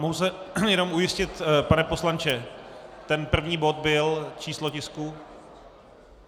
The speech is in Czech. Mohu se jenom ujistit, pane poslanče, ten první bod byl číslo tisku?